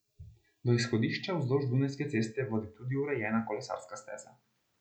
Do izhodišča vzdolž Dunajske ceste vodi tudi urejena kolesarska steza.